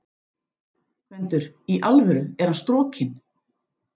GVENDUR: Í alvöru: Er hann strokinn?